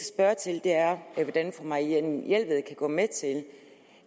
spørge til er hvordan fru marianne jelved kan gå med til